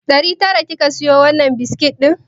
Ɗari tara kika siyo wannan biskit ɗin?